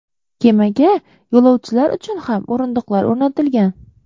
Kemaga yo‘lovchilar uchun ham o‘rindiqlar o‘rnatilgan.